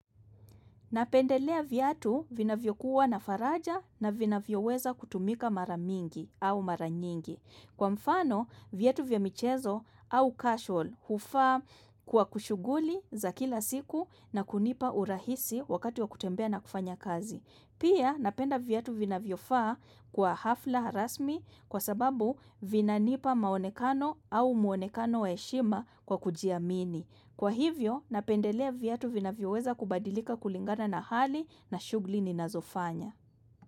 Napendelea viatu vina vyokuwa na faraja na vina vyoweza kutumika mara mingi au mara nyingi. Kwa mfano, viatu vya michezo au casual hufaa kwa kushuguli za kila siku na kunipa urahisi wakati wa kutembea na kufanya kazi. Pia napenda viatu vinavyo faa kwa hafla rasmi kwa sababu vinanipa maonekano au muonekano wa heshima kwa kujiamini. Kwa hivyo napendelea viatu vinavyo weza kubadilika kulingana na hali na shugli ni nazofanya.